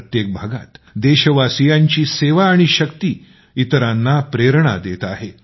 प्रत्येक भागात देशवासीयांची सेवा आणि शक्ती इतरांना प्रेरणा देत आहे